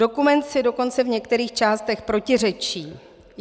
Dokument si dokonce v některých částech protiřečí.